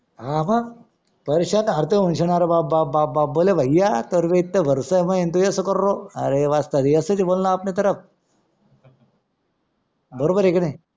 हां मंग पैश्याने हाथ धुणार बाप बाप बाप बरोबर आहे का नाय